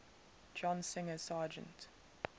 john singer sargent